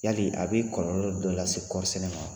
Yali a b'i kɔlɔlɔ dɔ lase kɔɔrisɛnen ma wa?